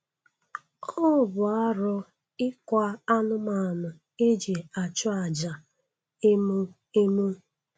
Ọ bụ arụ ịkwa anụmanụ e ji achụ aja emo emo